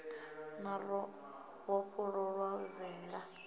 na ro vhofholowa vendḓa ḽo